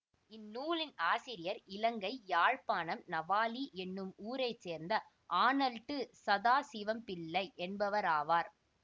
இந் நூலின் ஆசிரியர் இலங்கை யாழ்ப்பாணம் நவாலி என்னும் ஊரை சேர்ந்த ஆணல்ட் சதாசிவம்பிள்ளை என்பவராவார்